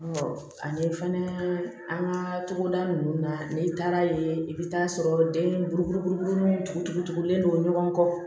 ani fana an ka togoda ninnu na n'i taara ye i bɛ taa sɔrɔ den buru tugu tugulen don ɲɔgɔn kɔ